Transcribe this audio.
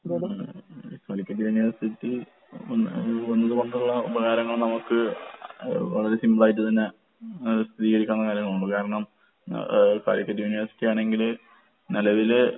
ഉം. ഉം കാലിക്കറ്റ് യൂണിവേഴ്സിറ്റി വന്ന് വന്നത് കൊണ്ട്ള്ള ഉപകാരങ്ങൾ നമക്ക് അഹ് വളരെ സിംപിളായിട്ട് തന്നെ ആഹ് സ്ഥിതീകരിക്കാവുന്ന കാര്യങ്ങളേ ഉള്ളൂ. കാരണം എഹ് ഏഹ് കാലിക്കറ്റ് യൂണിവേഴ്സിറ്റിയാണെങ്കില് നെലവില്